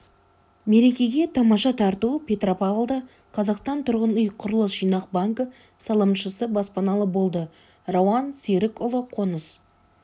мерекеге тамаша тарту петропавлда қазақстан тұрғын үй құрылыс жинақ банкі салымшысы баспаналы болды рауан серікұлы қоныс